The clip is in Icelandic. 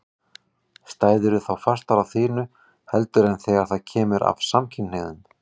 Stæðirðu þá fastar á þínu heldur en þegar það kemur að samkynhneigðum?